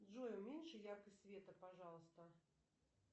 джой уменьши яркость света пожалуйста